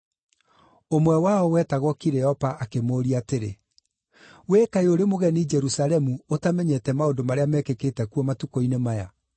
Ũmwe wao, wetagwo Kileopa akĩmũũria atĩrĩ, “Wee kaĩ ũrĩ mũgeni Jerusalemu ũtamenyete maũndũ marĩa mekĩkĩte kuo matukũ-inĩ maya?”